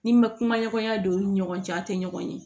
Ni n ma kuma ɲɔgɔnya don u ni ɲɔgɔn cɛ a tɛ ɲɔgɔn ye